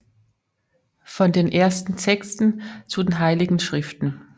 Von den ersten Texten zu den heiligen Schriften